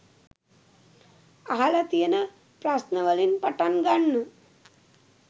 අහල තියෙන ප්‍රශ්න වලින් පටන් ගන්න.